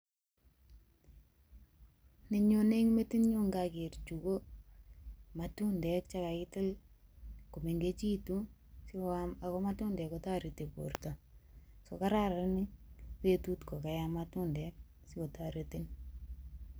Nenyone eng metinyu ngager chu ko matundek che kagitil komengechitu sigoam ago matundek kotoreti borto. So kararan betut kokayam matundek sikotoretin.